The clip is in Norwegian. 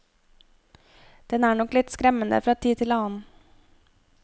Den er nok litt skremmende fra tid til annen.